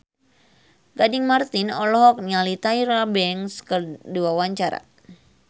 Gading Marten olohok ningali Tyra Banks keur diwawancara